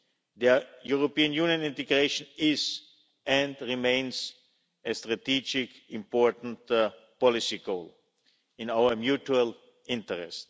Their European Union integration is, and remains, a strategic important policy goal, in our mutual interest.